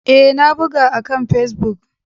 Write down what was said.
Ee, na buga akan Facebook.